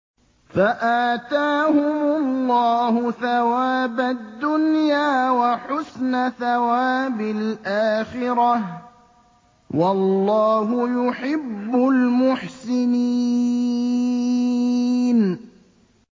فَآتَاهُمُ اللَّهُ ثَوَابَ الدُّنْيَا وَحُسْنَ ثَوَابِ الْآخِرَةِ ۗ وَاللَّهُ يُحِبُّ الْمُحْسِنِينَ